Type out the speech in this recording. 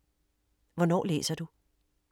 Hvornår læser du?